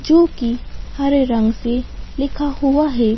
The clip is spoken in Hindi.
जो कि हरे रंग से लिखा हुआ है।